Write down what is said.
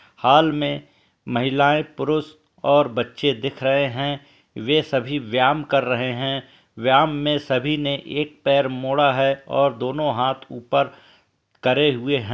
हाल में महिलाएं पुरुष और बच्चे दिख रहे हैं वे सभी व्याम कर रहे हैं। व्याम में सभी ने एक पैर मोड़ा है और दोनों हाथ ऊपर करे हुए हं --